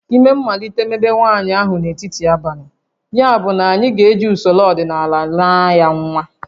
Ime malitere mebe nwaanyị ahụ n'etiti abalị, yabụ anyị ga-eji usoro ọdịnala naa ya nwa